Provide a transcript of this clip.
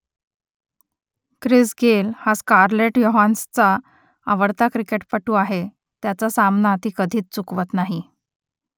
Chris Gayle हा Scarlett योहान्सनचा आवडता क्रिकेटपटू आहे त्याचा सामना ती कधीच चुकवत नाही